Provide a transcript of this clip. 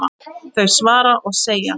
þau svara og segja